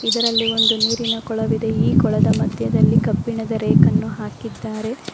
ಇದರಲ್ಲಿ ಒಂದು ನೀರಿನ ಕೊಳವಿದೆ ಈ ಕೊಳದ ಮಧ್ಯದಲ್ಲಿ ಕಬ್ಬಿಣದ ರೇಕ್ ಅನ್ನು ಹಾಕಿದ್ದಾರೆ.